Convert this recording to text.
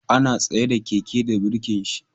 Ana tsaida Keke da birkin shi